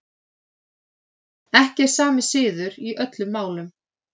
Ekki er sami siður í öllum málum.